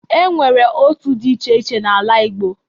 E nwere otu dị iche iche n'ala Igbo.